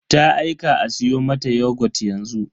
Ta aika a siyo mata yogut yanzu.